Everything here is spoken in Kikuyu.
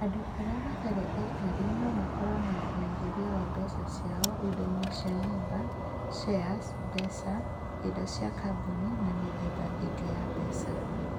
Andũ arĩa matarĩ aikari no makorũo na ũigithia wa mbeca ciao indo-inĩ cia nyũmba, shares, mbeca, indo cia kambuni, na mĩthemba ĩngĩ ya mbeca.